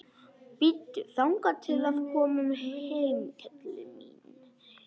Bíddu þangað til við komum heim, kelli mín.